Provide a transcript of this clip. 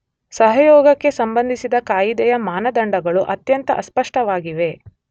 ಸಹಯೋಗಕ್ಕೆ ಸಂಬಂಧಿಸಿದ ಕಾಯಿದೆಯ ಮಾನದಂಡಗಳು ಅತ್ಯಂತ ಅಸ್ಪಷ್ಟವಾಗಿವೆ.